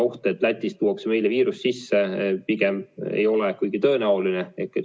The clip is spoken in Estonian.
Oht, et Lätist tuuakse meile viirus sisse, pigem ei ole kuigi tõenäoline.